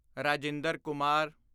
Rajinder Kumar